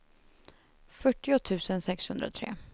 fyrtio tusen sexhundratre